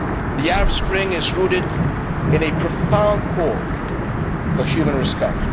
The Arab Spring is rooted in a profound call for human respect.